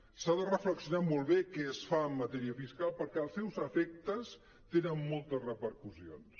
s’ha de reflexionar molt bé què es fa en matèria fiscal perquè els seus efectes tenen molta repercussions